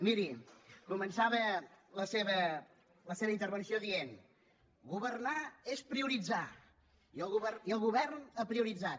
miri començava la seva intervenció dient governar és prioritzar i el govern ha prioritzat